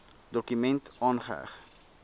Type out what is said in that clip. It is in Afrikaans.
dokument aangeheg